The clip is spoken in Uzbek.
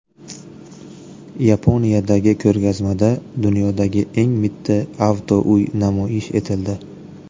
Yaponiyadagi ko‘rgazmada dunyodagi eng mitti avtouy namoyish etildi.